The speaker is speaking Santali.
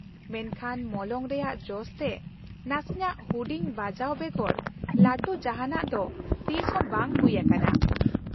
-ᱢᱮᱱᱠᱷᱟᱱ ᱢᱚᱞᱚᱝ ᱨᱮᱭᱟᱜ ᱡᱚᱥ ᱛᱮ ᱱᱟᱥᱮᱱᱟᱜ ᱦᱩᱰᱤᱧ ᱵᱟᱡᱟᱣ ᱵᱮᱜᱚᱨ ᱞᱟᱹᱴᱩ ᱡᱟᱦᱟᱸᱱᱟᱜ ᱫᱚ ᱛᱤᱥᱦᱚᱸ ᱵᱟᱝ ᱦᱩᱭ ᱟᱠᱟᱱᱟ᱾